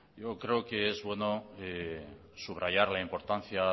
yo creo que es bueno subrayar la importancia